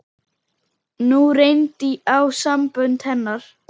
Nú reyndi á sambönd hennar.